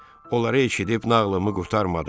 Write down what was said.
Onları eşidib nağılımı qurtarmadım.